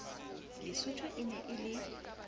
lesotho e ne e le